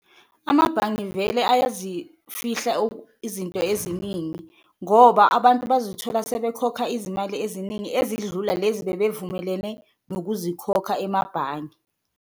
Amabhange vele ayazifihla izinto eziningi ngoba abantu bazithola sebekhokha izimali eziningi, ezidlula lezi bebevumelene ngokuzikhokha emabhange.